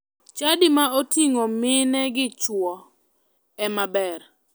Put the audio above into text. Chadi ma oting'o mine gi chuo ema ber.